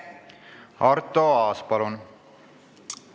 Arto Aas, palun!